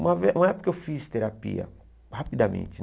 Uma ve uma época que eu fiz terapia, rapidamente,